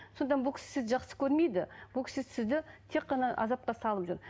сондықтан бұл кісі сізді жақсы көрмейді бұл кісі сізді тек қана азапқа салып жүр